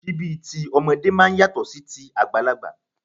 Síbí tí ọmọdé máa ń yàtọ̀ sí ti àgbàlagbà